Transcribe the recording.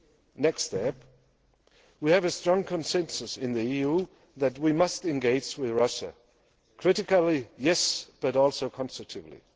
The next step we have a strong consensus in the EU that we must engage with Russia critically, yes, but also constructively.